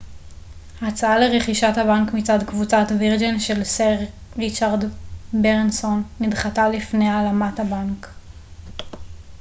הצעה לרכישת הבנק מצד קבוצת וירג'ן של סר ריצ'רד ברנסון נדחתה לפני הלאמת הבנק